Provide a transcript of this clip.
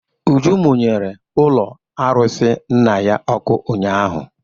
Uju mụnyere ụlọ arụsị nna ya ọkụ ụnyaahụ.